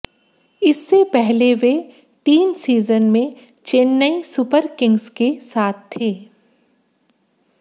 इससे पहले वे तीन सीजन में चेन्नई सुपरकिंग्स के साथ थे